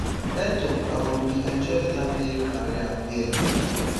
etoo um bin enjoy beta playing career wia